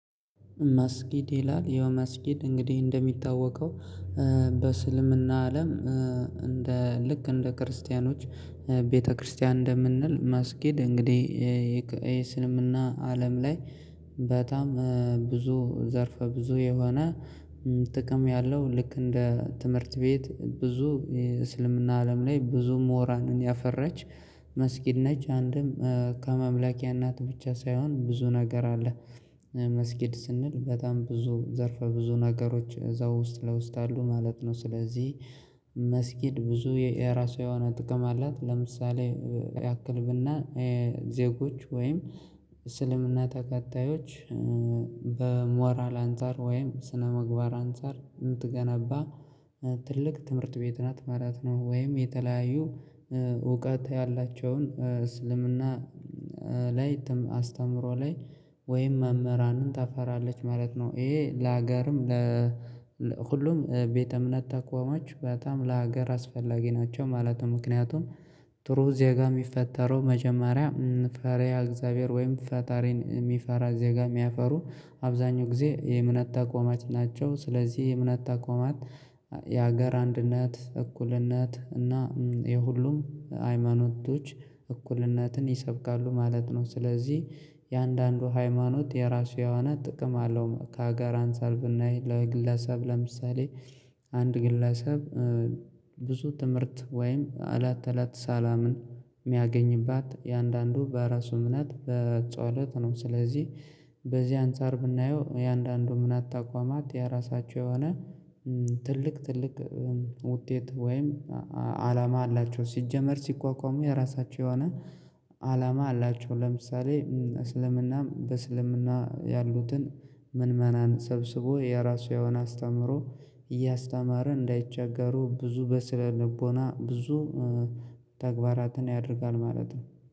መስጊድ ይላል ያው መስጊድ እንግዲህ እንደሚታወቀው በእስልምና አለም እንደ ልክ እንደ ክርስቲያኖች ቤተክርስቲያን እንደምንል መስጊድ እንግዲህ የእስልምና አለም ላይ በጣም ብዙ ዘርፈ ብዙ የሆነ ጥቅም ያለው ልክ እንደ ትምህርት ቤት ብዙ የእስልምና አለም ላይ ብዙ ምሁራንን ያፈራች መስጊድ ነች አንድም ከማምላኪያ ነት ብቻ ሳይሆን ብዙ ነገር አለ መስጊድ ስንል በጣም ብዙ ዘርፈ ብዙ ነገሮች እዛ ውስጥ ለውስጥ አሉ ማለት ነው። ስለዚህ መስጊድ ብዙ የራሷ የሆነ ጥቅም አላት ለምሳሌ ያክል ብናይ ዜጎች ወይም እስልምና ተከታዮች በሞራል አንፃር ወይም ስነምግባር አንፃር የምትገነባ ትልቅ ትምህርት ቤት ናት ማለት ነው። ወይም የተለያዩ እውቀት ያላቸውን እስልምና ላይ ትም አስተምህሮ ላይ ወይም መምህራንን ታፈራለች ማለት ነው። ይሄ ለሀገርም ለ ሁሉም ቤተ እምነት ተቋሞች በጣም ለሀገር አስፈላጊ ናቸው ማለት ነው። ምክንያቱም ጥሩ እዚያ ጋር የሚፈጠረው መጀመሪያ ፈሪሃ እግዚአብሔር ወይም ፈጣሪን የሚፈራ ዜጋ የሚያፈሩ አብዛኛው ጊዜ የእምነት ተቋማት ናቸው። ስለዚህ የእምነት ተቋማት የሀገር አንድነት እኩልነት እና የሁሉም ሃይማኖቶች እኩልነትን ይሰብካሉ ማለት ነው። ስለዚህ የእያንዳንዱ ሃይማኖት የራሱ የሆነ ጥቅም አለው። ከሀገር አንፃር ብናይ ለግለሰብ ለምሳሌ አንድ ግለሰብ ብዙ ትምህርት ወይም እለት እለት ሰላምን የሚያገኝባት እያንዳንዱ በራሱ እምነት በጸሎት ነው። ስለዚህ በዚህ አንፃር ብናየው እያንዳንዱ እምነት ተቋማት የራሳቸው የሆነ ትልቅ ትልቅ ውጤት ወይም አላማ አላቸው ሲጀመር ሲቋቋሙ የራሳቸው የሆነ አላማ አላቸው። ለምሳሌ እስልምና በእስልምና ያሉትን ምእመናን ሰብስቦ የራሱ የሆነ አስተምሮ እያስተማረ እንዳይቸገሩ ብዙ በስነ ልቦና ብዙ ተግባራትን ያደርጋል ማለት ነው